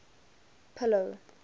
pillow